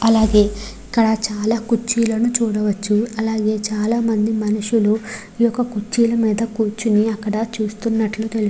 అలాగే ఇక్కడ చాలా కుర్చీలను చూడవచ్చు అలాగే చాలా మంది మనుషులు ఈ యొక్క కుర్చీలా మీద కూర్చుని అక్కడ చూస్తునట్లు --